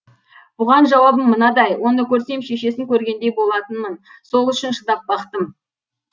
бұған жауабым мынадай оны көрсем шешесін көргендей болатынмын сол үшін шыдап бақтым